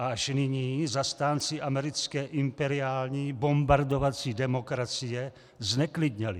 A až nyní zastánci americké imperiální bombardovací demokracie zneklidněli.